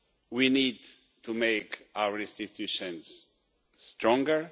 We need to make our institutions stronger.